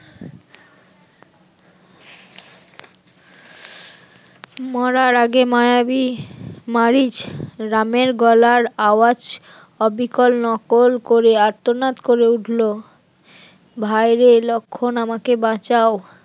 মরার আগে মায়াবী মারিচ রামের গলার আওয়াজ হবে অবিকল নকল করে আর্তনাদ করে উঠলো, ভাইরে লক্ষণ আমাকে বাঁচাও।